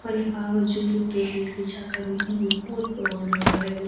यखा जू पेंट बिछा कर्युं वू भी बहोत पुराण लगन लगीं।